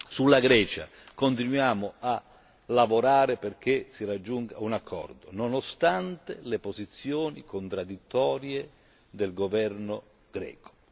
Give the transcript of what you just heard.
Sulla Grecia continuiamo a lavorare perché si raggiunga un accordo, nonostante le posizioni contraddittorie del governo greco.